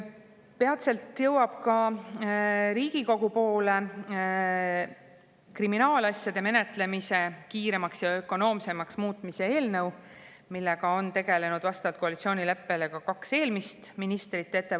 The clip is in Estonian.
Peatselt jõuab Riigikokku kriminaalasjade menetlemise kiiremaks ja ökonoomsemaks muutmise eelnõu, mille ettevalmistamisega on tegelenud vastavalt koalitsioonileppele ka kaks eelmist ministrit.